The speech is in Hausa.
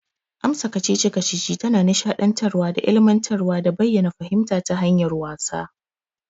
Amsa kacici-kacici tana nisha dantarwa da ilimantarwa da bayyana fahimta ta hanyar wasa.